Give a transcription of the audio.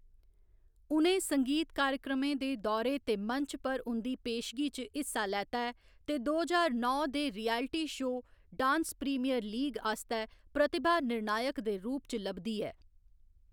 उ'नें संगीत कार्यक्रमें दे दौरे ते मंच पर उं'दी पेशगी च हिस्सा लैता ऐ ते दो ज्हार नौ दे reality show dance premier league आस्तै प्रतिभा निर्णायक दे रूप च लभदी ऐ।